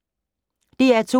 DR2